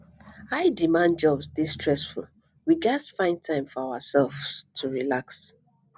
highdemand jobs dey stressful we gats find time for ourselves to relax